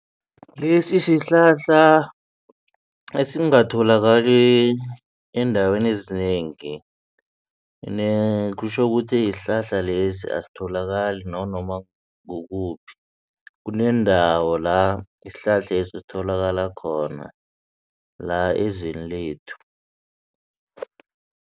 Lesi sihlahla esingatholakali eendaweni ezinengi kutjho ukuthi isihlahla lesi asitholakali nanoma kukuphi kunendawo la isihlahlesi esitholakala khona la ezweni lethu.